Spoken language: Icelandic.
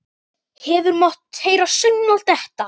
Hefði mátt heyra saumnál detta.